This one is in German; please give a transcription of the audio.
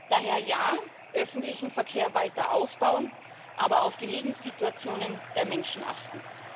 Daher ja, öffentlichen Verkehr weiter ausbauen, aber auf die Lebenssituationen der Menschen achten.